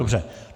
Dobře.